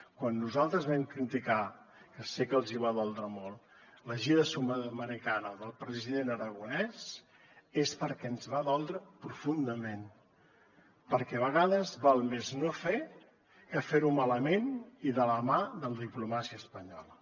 quan nosaltres vam criticar que sé que els hi va doldre molt la gira sud americana del president aragonès és perquè ens va doldre profundament perquè a vegades val més no fer que fer ho malament i de la mà de la diplomàcia espanyola